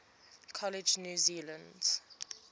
college new zealand